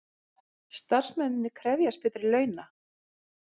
Starfsmennirnir krefjast betri launa